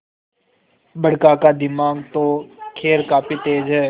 बड़का का दिमाग तो खैर काफी तेज है